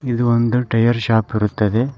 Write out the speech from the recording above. ಇದು ಒಂದು tyre shop ಇರುತ್ತದೆ.